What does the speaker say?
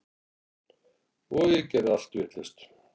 Og ég segi allt vitlaust.